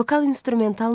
Vokal instrumental muğam.